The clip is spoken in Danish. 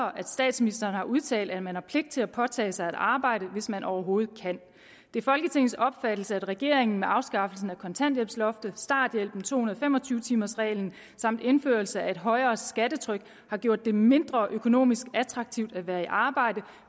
og at statsministeren har udtalt at man har pligt til at påtage sig et arbejde hvis man overhovedet kan det er folketingets opfattelse at regeringen med afskaffelsen af kontanthjælpsloftet starthjælpen to hundrede og fem og tyve timers reglen samt indførelse af et højere skattetryk har gjort det mindre økonomisk attraktivt at være i arbejde